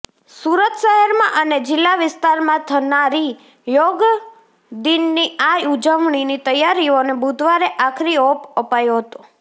સુરત શહેરમાં અને જિલ્લા વિસ્તારમાં થનારી યોગદિનની આ ઉજવણીની તૈયારીઓને બુધવારે આખરીઓપ અપાયો હતો